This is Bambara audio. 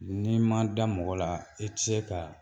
N'i ma da mɔgɔ la i tɛ se ka